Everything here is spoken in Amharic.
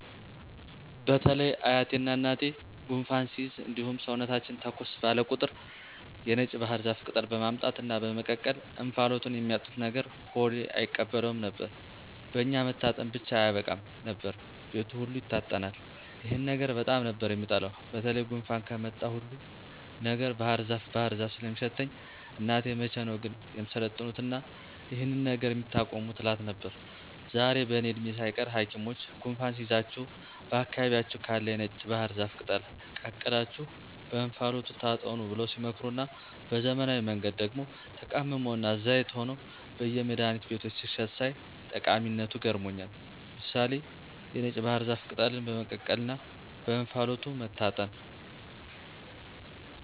በተለይ አያቴና እናቴ ጉንፋን ሲይዘን እንዲሁም ሰውነታችን ተኮስ ባለ ቁጥር የነጭ ባህር ዛፍ ቅጠል በማምጣት እና በመቀቀል እንፋሎቱን የሚያጥኑን ነገር ሆዴ አይቀበለውም ነበር። በኛ መታጠን ብቻ አያበቃም ነበር፤ ቤቱ ሁሉ ይታጠናል። ይሄን ነገር በጣም ነበር የምጠላው በተለይ ጉንፋን ከመጣ ሁሉ ነገር ባህርዛፍ ባህር ዛፍ ስለሚሸተኝ እናቴን መቼ ነው ግን የምትሰለጥኑትና ይሄንን ነገር የምታቆሙት እላት ነበር። ዛሬ በእኔ እድሜ ሳይቀር ሀኪሞች ጉንፋን ሲይዛችሁ በአካባቢያችሁ ካለ የነጭ ባህር ዛፍ ቅጠል ቀቅላችሁ በእንፋሎቱ ታጠኑ ብለው ሲመክሩና በዘመናዊ መንገድ ደግሞ ተቀምሞና ዘይት ሆኖ በየመድሀኒት ቤቶች ሲሸጥ ሳይ ጠቀሚነቱ ገርሞኛል። ምሳሌ(የነጭ ባህር ዛፍ ቅጠልን በመቀቀልና በእንፋሎቱ መታጠን)